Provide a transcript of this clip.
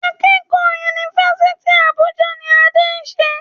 Akẹ́kọ̀ọ́ Yunifásítì Àbújá ni Adé ń ṣe.